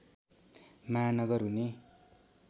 महानगर हुने